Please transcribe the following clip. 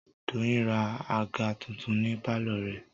Doyin ra àga tuntun ní pálọ̀ rẹ̀